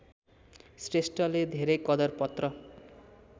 श्रेष्ठले धेरै कदरपत्र